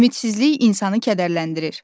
Ümidsizlik insanı kədərləndirir.